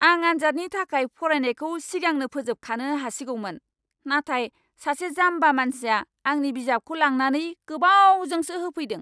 आं आन्जादनि थाखाय फरायनायखौ सिगांनो फोजोबखानो हासिगौमोन, नाथाय सासे जाम्बा मानसिया आंनि बिजाबखौ लांनानै गोबावजोंसो होफैदों।